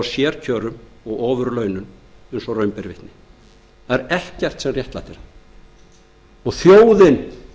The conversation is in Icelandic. ofurlaunum eins og raun ber vitni það er ekkert sem réttlætir það og þjóðin